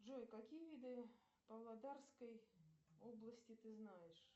джой какие виды павлодарской области ты знаешь